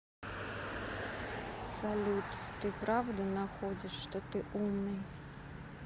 салют ты правда находишь что ты умный